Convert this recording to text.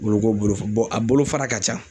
Boloko bolofa a bolofara ka ca.